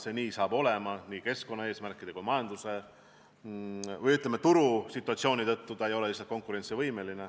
See saab nii olema keskkonnaeesmärkide tõttu ja turusituatsiooni tõttu, see tootmine ei ole lihtsalt konkurentsivõimeline.